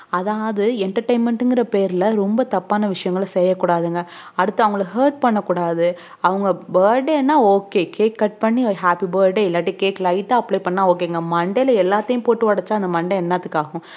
அதான்அது entertainment ங்குற பேருல ரொம்ப தப்பான விஷயம் செய்யகூடாது அடுத்து அவங்கள hurt பண்ண கூடாது அவங்க burday நா okcake cut பண்ணி happyburday இல்ல cakelite ஆஹ் apply பண்ணா ok ங்கமண்டைல எலாத்தையும் போட்டு ஒடச்சா அந்த மண்டை என்னத்துக்கு ஆகும்